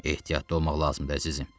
Ehtiyatlı olmaq lazımdır, əzizim.